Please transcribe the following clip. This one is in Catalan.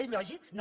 és lògic no